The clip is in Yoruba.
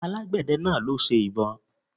Àgbẹ̀dẹ náà ló ṣe ìbo